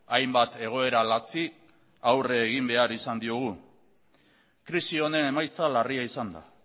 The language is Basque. hainbat egoera latzi aurrera egin behar izan diogu krisi honen emaitza larria izan da